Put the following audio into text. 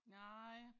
Nej